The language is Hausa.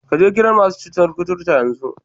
Ka je gidan masu cutar koturta yanzu!